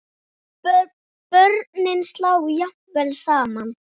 Börnin slá jafnvel saman.